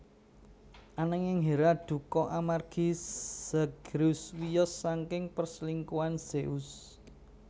Anangin Hera dukha amargi Zagreus wiyos saking perselingkuhan Zeus